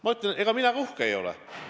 Ma ütlen, et ega mina ka uhke ei ole.